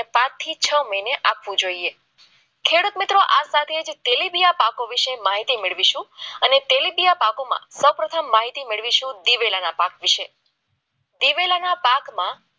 પાંચ થી છ મહિને આપવું જોઈએ ખેડૂત મિત્રો આ સાથી તેલીબીયા પાકો વિશે માહિતી મેળવીશું અને તેલીબીયા પાકોમાં સૌપ્રથમ માહિતી મેળવીશું દિવેલીયાના પાક વિશે